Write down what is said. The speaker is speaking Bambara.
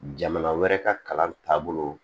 Jamana wɛrɛ ka kalan taabolo